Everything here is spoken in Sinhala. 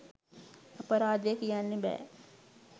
අපරාදේ කියන්න බෑ